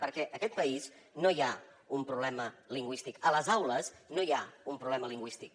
perquè en aquest país no hi ha un problema lingüístic a les aules no hi ha un problema lingüístic